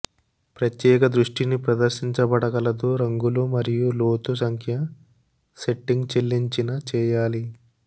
ప్రత్యేక దృష్టిని ప్రదర్శించబడగలదు రంగులు మరియు లోతు సంఖ్య సెట్టింగ్ చెల్లించిన చేయాలి